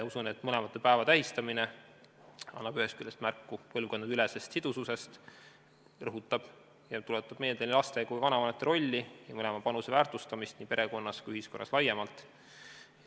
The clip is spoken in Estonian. Usun, et mõlema päeva tähistamine annab ühest küljest märku põlvkondadeülesest sidususest, rõhutab ja tuletab meelde nii laste kui ka vanavanemate rolli, mõlema panuse väärtustamist nii perekonnas kui ka ühiskonnas laiemalt.